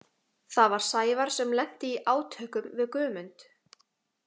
Það var Sævar sem lenti í átökum við Guðmund.